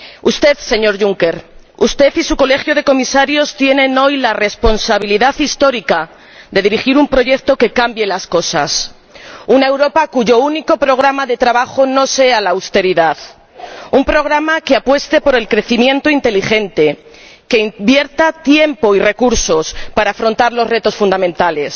Usted, señor Juncker, usted y su Colegio de Comisarios tienen hoy la responsabilidad histórica de dirigir un proyecto que cambie las cosas una Europa cuyo único programa de trabajo no sea la austeridad, sino que apueste por el crecimiento inteligente, que invierta tiempo y recursos para afrontar los retos fundamentales.